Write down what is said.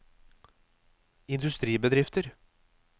industribedrifter